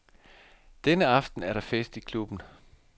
Denne aften er der fest i klubben.